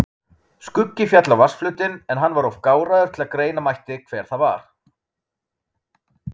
Skuggi féll á vatnsflötinn en hann var of gáraður til greina mætti hver það var.